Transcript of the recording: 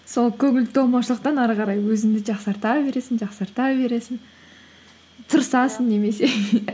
сол көңіл толмаушылықтан ары қарай өзіңді жақсарта бересің жақсарта бересің тырысасың немесе